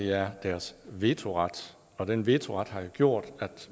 er deres vetoret og den vetoret har jo gjort at